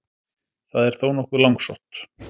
Það er þó nokkuð langsótt.